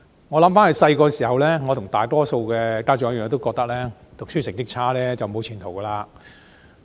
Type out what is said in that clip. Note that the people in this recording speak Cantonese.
回想他們小時候，我跟大多數家長一樣，都認為讀書成績差便沒有前途。